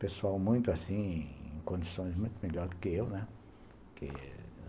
Pessoal muito, assim, em condições muito melhores do que eu, né? que